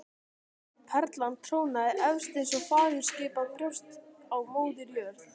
Perlan trónaði efst eins og fagurskapað brjóst á Móður jörð.